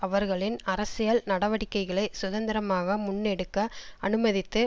அவர்களின் அரசியல் நடவடிக்கைகளை சுதந்திரமாக முன்னெடுக்க அனுமதித்து